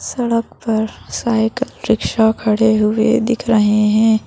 सड़क पर cycle rickshaw खड़े हुए दिख रहे हैं।